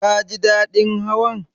Ka ji daɗin Hawan?